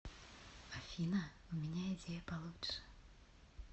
афина у меня идея получше